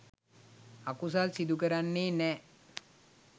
අකුසල් සිදු කරන්නේ නැහැ.